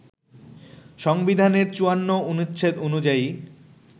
সংবিধানের ৫৪ অনুচ্ছেদ অনুযায়ী